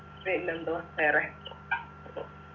പിന്നെന്തുവാ വേറെ